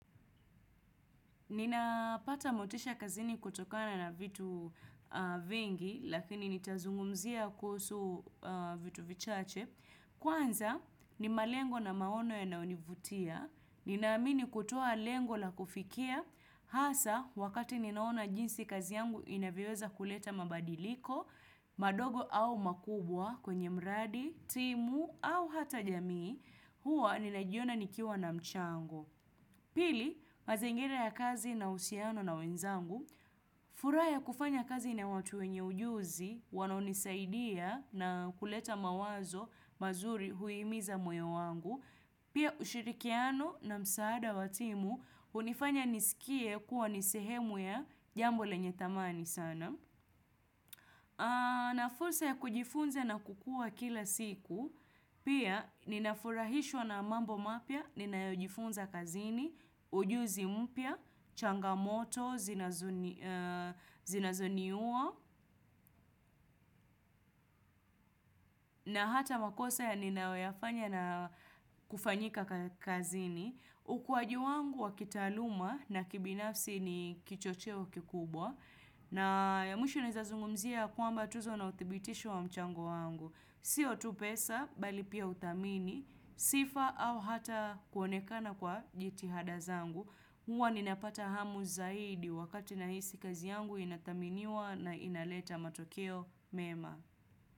Nina pata motisha kazini kutokana na vitu vingi, lakini nitazungumzia kuhusu vitu vichache. Kwanza, ni malengo na maono yanayonivutia. Ninaamini kutoa lengo la kufikia. Hasa, wakati ninaona jinsi kazi yangu inavyoweza kuleta mabadiliko, madogo au makubwa kwenye mradi, timu au hata jamii, huwa ninajiona nikiwa na mchango. Pili, mazingira ya kazi na uhusiano na wenzangu, furaha ya kufanya kazi na watu wenye ujuzi, wanao nisaidia na kuleta mawazo mazuri huimiza moyo wangu, pia ushirikiano na msaada watimu, hunifanya nisikie kuwa nisehemu ya jambo lenye thamani sana. Na fursa ya kujifunza na kukua kila siku, pia ninafurahishwa na mambo mapya, ninayojifunza kazini, ujuzi mpya, changamoto, zinazoni uwo, na hata makosa ya ninayoyafanya na kufanyika kazini. Ukuaji wangu wakitaaluma na kibinafsi ni kichocheo kikubwa na ya mwisho naweza zungumzia kwamba tuzo na uthibitisho wa mchango wangu Sio tu pesa bali pia uthamini Sifa au hata kuonekana kwa jitihada zangu Huwa ninapata hamu zaidi wakati nahisi kazi yangu inathaminiwa na inaleta matokeo mema.